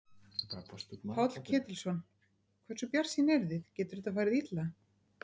Páll Ketilsson: Hversu bjartsýn eruð þið, getur þetta farið illa?